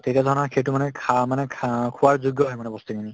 তেতিয়া সেইটো মানে খা~ মানে খা~ অ খোৱাৰ যোগ্য হয় মানে বস্তুখিনি